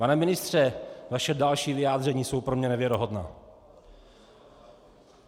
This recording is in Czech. Pane ministře, vaše další vyjádření jsou pro mě nevěrohodná.